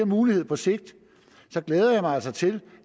mulighed på sigt så glæder jeg mig altså til